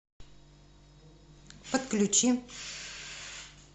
подключи